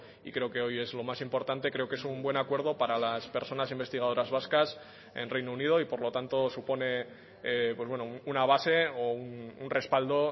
y creo que hoy es lo más importante creo que es un buen acuerdo para las personas investigadoras vascas en reino unido y por lo tanto supone una base o un respaldo